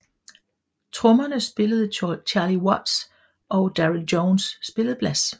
Trommerne spillede Charlie Watts og Darryl Jones spillede bass